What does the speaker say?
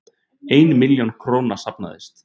Ein milljón króna safnaðist